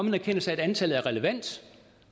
en erkendelse af at antallet er relevant